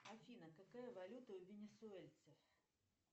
афина какая валюта у винисуэльцев